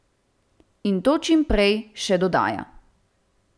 In to čim prej, še dodaja.